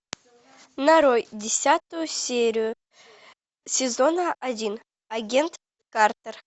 нарой десятую серию сезона один агент картер